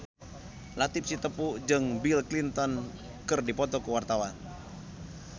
Latief Sitepu jeung Bill Clinton keur dipoto ku wartawan